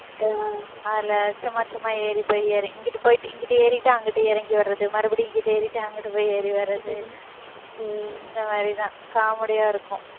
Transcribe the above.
அதுல, சும்மா, சும்மா ஏறி போய் இறங்~ இங்கிட்டு போயிட்டு, இங்கிட்டு ஏறிட்டு அங்கிட்டு இறங்கி வர்றது, மறுபடியும் இங்கிட்டு ஏறிட்டு, அங்கிட்டு போய் ஏறி வர்றது, இந்த மாதிரிதான், comedy யா இருக்கும்